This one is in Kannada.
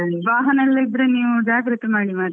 ವಾಹನಗಳಿದ್ರೆ ನೀವ್ ಜಾಗ್ರತೆ ಮಾಡಿ ಮರ್ರೆ.